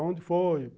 Onde foi?